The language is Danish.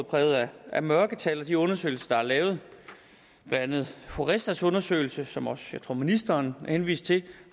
præget af mørketal og de undersøgelser der er lavet blandt andet horestas undersøgelse som jeg også tror ministeren henviste til